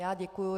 Já děkuji.